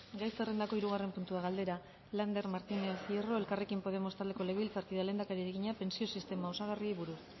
gai zerrendako hirugarren puntua galdera lander martínez hierro elkarrekin podemos taldeko legebiltzarkideak lehendakariari egina pentsio sistema osagarriei buruz